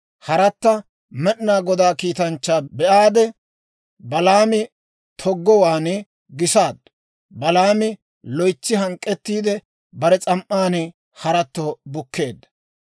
Haratta Med'inaa Godaa kiitanchchaa be'aade, Balaami toggowaan gisaaddu. Balaami loytsi hank'k'ettiide, bare s'am"an haratto bukkeedda.